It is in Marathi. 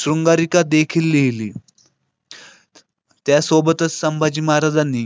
शृंगारीचादेखीलली त्यासोबतच संभाजी महाराजांनी